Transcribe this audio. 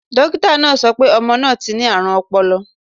Dókítà náà sọ pé ọmọ náà ti ní àrùn ọpọlọ.